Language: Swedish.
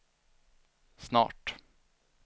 snart